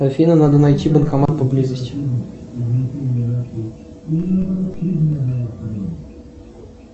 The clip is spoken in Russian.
афина надо найти банкомат поблизости